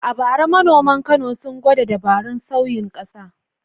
A bara manoman Kano sun gwada dabarun sauyin ƙasa.